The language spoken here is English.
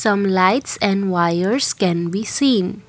some lights and wires can be seen.